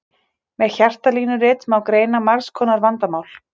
Með hjartalínuritinu má greina margs konar vandamál.